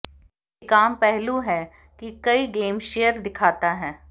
एक आम पहलू है कि कई गेम शेयर दिखाता है